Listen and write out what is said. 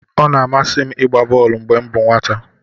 Ọ na-amasị m ịgba bọolu mgbe m bụ nwata.